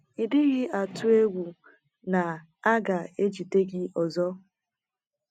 “ Ị́ dịghị atụ egwu na a ga - ejide gị ọzọ? ”